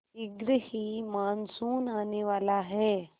शीघ्र ही मानसून आने वाला है